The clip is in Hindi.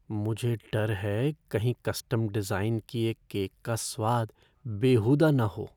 मुझे डर हैं कहीं कस्टम डिज़ाइन किए केक का स्वाद बेहूदा न हो।